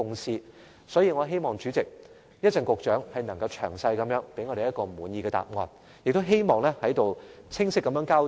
所以，代理主席，我希望局長稍後能詳細給我們一個滿意的答案和清晰交代。